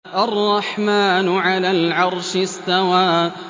الرَّحْمَٰنُ عَلَى الْعَرْشِ اسْتَوَىٰ